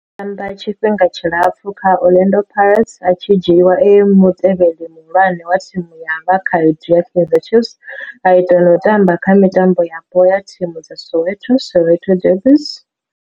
O tamba tshifhinga tshilapfhu kha Orlando Pirates, a tshi dzhiiwa e mutevheli muhulwane wa thimu ya vhakhaedu ya Kaizer Chiefs, a ita na u tamba kha mitambo yapo ya thimu dza Soweto, Soweto derbies.